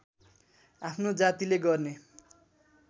आफ्नो जातिले गर्ने